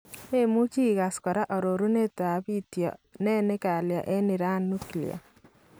Meemuuchi ikaas kora arorunetab biityo , nee ne kalya en Iran nuklia ?